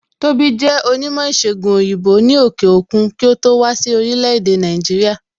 Tóbi jẹ onímò ìsègùn òyìnbó ni òkè òkun kí ó tó wá sí orílẹ̀ èdè Nàìjíríà